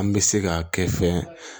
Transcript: An bɛ se ka kɛ fɛn